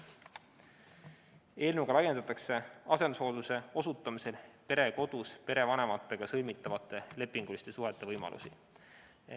Eelnõuga laiendatakse asendushooldusteenuse osutamisel perekodus perevanematega sõlmitavate lepinguliste suhete võimalusi.